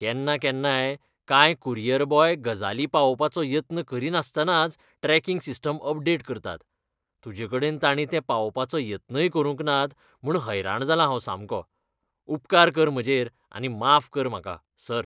केन्नाकेन्नाय, कांय courier boy गजाली पावोवपाचो यत्न करिनासतनाच ट्रॅकिंग सिस्टम अपडेट करतात. तुजेकडेन ताणींतें पावोवपाचो यत्नय करूंक नात म्हूण हैराण जालां हांव सामको. उपकार कर म्हजेर आनी माफ कर म्हाका, सर. कुरियर